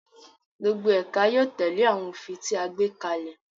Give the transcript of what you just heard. Gbogbo ẹka yóò tẹle awọn ofin ti a gbe kalẹ